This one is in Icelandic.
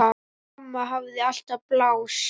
Amma hafði alltaf pláss.